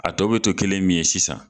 A tɔ bɛ to kelen min ye sisan